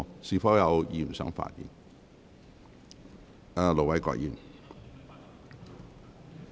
是否有議員想發言？